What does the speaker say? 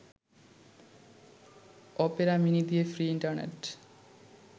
Opera Mini দিয়ে free internet